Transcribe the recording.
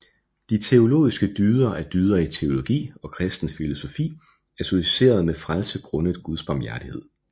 De teologiske dyder er dyder i teologi og kristen filosofi associeret med frelse grundet guds barmhjertighed